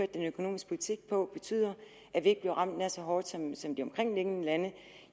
den økonomiske politik på har betydet at vi ikke bliver ramt nær så hårdt som som de omkringliggende lande